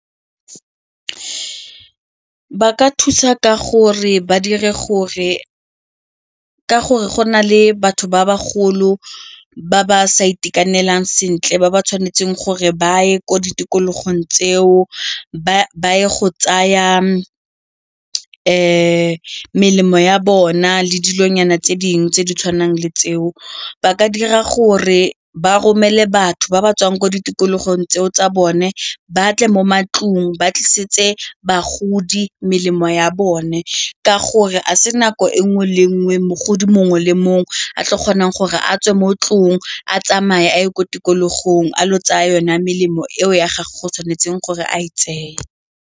Ba ka thusa ka gore go na le batho ba ba golo ba ba sa itekanelang sentle ba ba tshwanetseng gore ba ye ko ditikologong tseo ba ye go tsaya melemo ya bona le dilonyana tse dingwe tse di tshwanang le tseo, ba ka dira gore ba romele batho ba ba tswang ko ditikologong tseo tsa bone ba tle mo matlong ba tlisetse bagodi melemo ya bone ka gore a se nako e nngwe le nngwe mogodi mongwe le mongwe a tlo kgonang gore a tswe mo tlong a tsamaye a ye ko tikologong a ile go tsa yone melemo eo ya gore go tshwanetseng gore a tseye.